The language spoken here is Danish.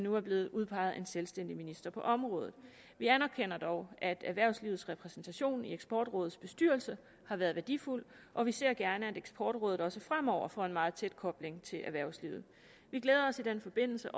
nu er blevet udpeget en selvstændig minister på området vi anerkender dog at erhvervslivets repræsentation i eksportrådets bestyrelse har været værdifuld og vi ser gerne at eksportrådet også fremover får en meget tæt kobling til erhvervslivet vi glæder os i den forbindelse